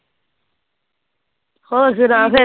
ਹੋਰ ਸੁਣਾ ਫਿਰ